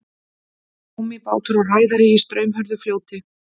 gúmmíbátur og ræðari í straumhörðu fljóti